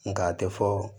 Nka a tɛ fɔ